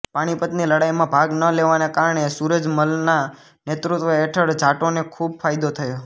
પાણીપતની લડાઈમાં ભાગ ન લેવાને કારણે સુરજ મલના નેતૃત્વ હેઠળ જાટોને ખૂબ ફાયદો થયો